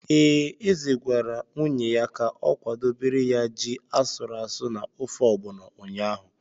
Ee, eze gwara nwunye ya ka o kwadobere ya ji asụrụ asụ na ofe ọgbọnọ ụnyahụ.